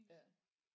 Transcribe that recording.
Ja